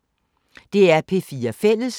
DR P4 Fælles